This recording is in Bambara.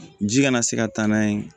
Ji kana se ka taa n'a ye